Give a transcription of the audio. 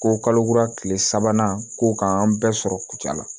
Ko kalo kura tile sabanan ko k'an bɛɛ sɔrɔ kucula